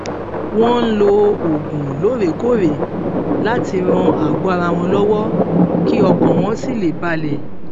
wón ń lo oògùn lóòrèkóòrè láti ran àgọ ara wọn lọwọ kí ọkàn wọn sì lè balè